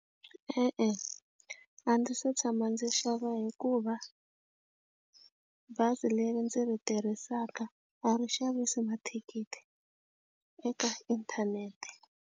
E-e, a ndzi se tshama ndzi xava hikuva bazi leri ndzi ri tirhisaka a ri xavisi mathikithi eka inthanete.